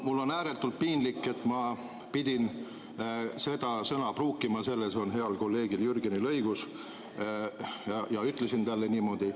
Mul on ääretult piinlik, et ma pidin seda sõna pruukima, selles on heal kolleegil Jürgenil õigus, ja ütlesin talle niimoodi.